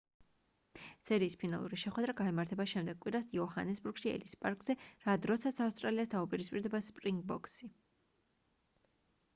სერიის ფინალური შეხვედრა გაიმართება შემდეგ კვირას იოჰანესბურგში ელის პარკზე რა დროსაც ავსტრალიას დაუპირისპირდება სპრინგბოქსი